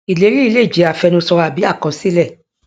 ìlérí yìí lè jẹ àfẹnusọ àbí alákọsílẹ